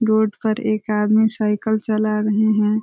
Road पर एक आदमी साइकिल चला रहे हैं।